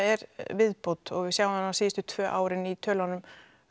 viðbót og við sjáum það síðustu tvö árin í tölunum